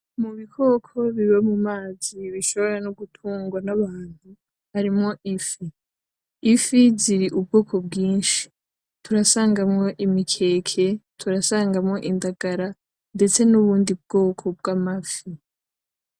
Mubikoko biba mumazi bishobora nogutungwa n'abantu harimwo ifi. Ifi zirubwoko bwinshi turasangamo imikeke; turasangamo indagara ndetse n'ubundi bwoko bwamafi.